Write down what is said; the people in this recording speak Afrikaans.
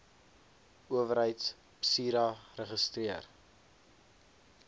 owerheid psira geregistreer